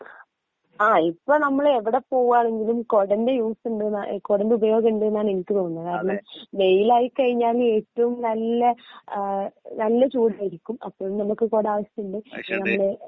ങാ ഇപ്പോ നമ്മള് ഏവടെ പോവാണെങ്കിലും കുടന്റെ യൂസ് ഉണ്ടെന്ന കുടന്റെ ഉപയോഗം ഉണ്ടെന്നാ എനിക്ക് തോന്നുന്നേ കാരണം വെയില് ആയി കഴിഞ്ഞാൽ ഏറ്റവും നല്ല നല്ല ചൂടായിരിക്കും അപ്പോ നമുക്ക് കുടാവശ്യമുണ്ട്